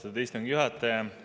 Austatud istungi juhataja!